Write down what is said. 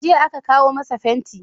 Jiya aka kawo masa fenti.